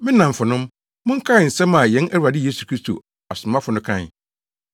Me nnamfonom, monkae nsɛm a yɛn Awurade Yesu Kristo asomafo no kae.